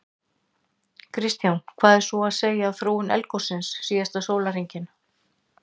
Kristján: Hvað er svo að segja af þróun eldgossins síðasta sólarhringinn?